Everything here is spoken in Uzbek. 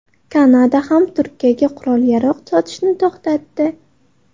Kanada ham Turkiyaga qurol-yarog‘ sotishni to‘xtatdi.